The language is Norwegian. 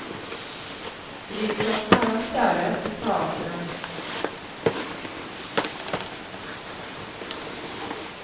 Drivkraften er hans kjærlighet til teateret.